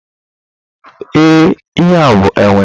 Ee, ihe a bụ enwe.